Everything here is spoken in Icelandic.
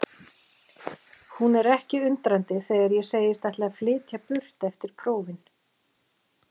Hún er ekki undrandi þegar ég segist ætla að flytja burt eftir prófin.